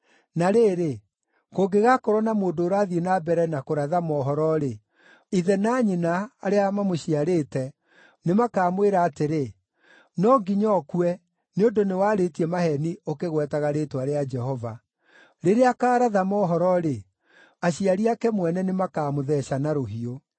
Na rĩrĩ, kũngĩgaakorwo na mũndũ ũrathiĩ na mbere na kũratha mohoro-rĩ, ithe na nyina, arĩa mamũciarĩte, nĩ makaamwĩra atĩrĩ, ‘No nginya ũkue, nĩ ũndũ nĩwarĩtie maheeni ũkĩgwetaga rĩĩtwa rĩa Jehova.’ Rĩrĩa akaaratha mohoro-rĩ, aciari ake mwene nĩmakamũtheeca na rũhiũ.